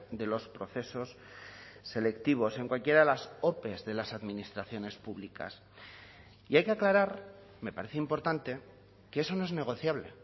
de los procesos selectivos en cualquiera de las ope de las administraciones públicas y hay que aclarar me parece importante que eso no es negociable